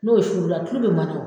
N'o suru la tulu be mana o